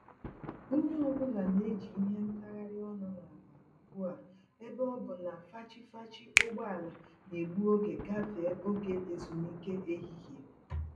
Onye ọ bụla n'eji ìhè ntagharị ọnụ n'akpa ugbu a ebe ọ bụ na fachi-fachi ụgbọala N'egbu oge gafee oge ezumike ehihie